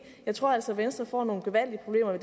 jeg tror altså at venstre får nogle gevaldige problemer